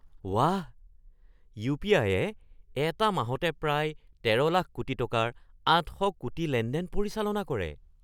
বাহ! ইউ.পি.আই.য়ে এটা মাহতে প্ৰায় ১৩ লাখ কোটি টকাৰ ৮০০ কোটি লেনদেন পৰিচালনা কৰে।